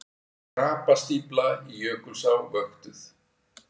Krapastífla í Jökulsá vöktuð